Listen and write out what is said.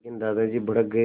लेकिन दादाजी भड़क गए